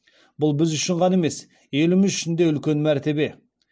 бұл біз үшін ғана емес еліміз үшін де үлкен мәртебе